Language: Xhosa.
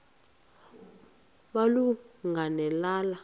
malunga ne lala